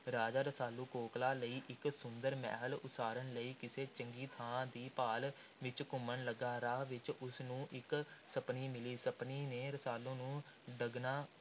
ਰਾਜਾ ਰਸਾਲੂ ਕੋਕਲਾਂ ਲਈ ਇਕ ਸੁੰਦਰ ਮਹਿਲ ਉਸਾਰਨ ਲਈ ਕਿਸੇ ਚੰਗੀ ਥਾਂ ਦੀ ਭਾਲ ਵਿੱਚ ਘੁੰਮਣ ਲੱਗਾ। ਰਾਹ ਵਿੱਚ ਉਸ ਨੂੰ ਇੱਕ ਸੱਪਣੀ ਮਿਲੀ। ਸੱਪਣੀ ਨੇ ਰਸਾਲੂ ਨੂੰ ਡੰਗਣਾ